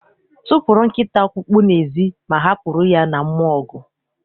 Tụpụrụ nkịta ọkpụkpụ n'ezi, ma hapụrụ ya na mmụọ ọgụ!